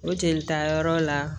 O jelita yɔrɔ la